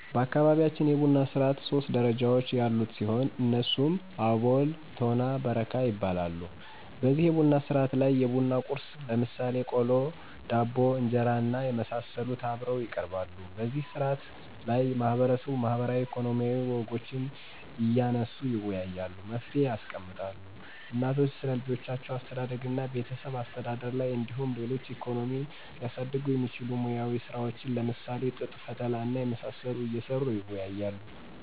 በአካባቢያችን የቡና ስርዓት ሶስት ደረጃዎች ያሉት ሲሆን እነሱም አቦል፤ ቶና እና በረካ ይባላሉ። በዚህ የቡና ስነስርዓት ላይ የቡና ቁርስ ለምሳሌ ቆሎ፣ ዳቦ፣ እንጀራና የመሳሰሉት አብረው ይቀርባሉ። በዚህ ስነ ስርዓት ላይ ማህበረሰቡ ማህበራዊ፣ ኢኮኖሚያዊ ወጎችን እያነሱ ይወያያሉ፤ መፍትሔ ያስቀምጣሉ። እናቶች ስለልጆች አስተዳደግና ቤተሰብ አስተዳደር ላይ እንዲሁም ሌሎች ኢኮኖሚን ሊያሳድጉ የሚችሉ ሙያዊ ስራዎችን ለምሳሌ ጥጥ ፈተላ እና የመሳሰሉት እየሰሩ ይወያያሉ።